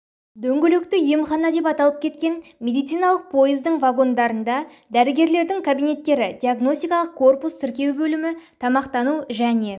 дөңгелекті емхана деп аталып кеткен медициналық пойыздың вагондарында дәрігерлердің кабинеттері диагностикалық корпус тіркеу бөлімі тамақтану және